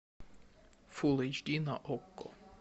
фул эйч ди на окко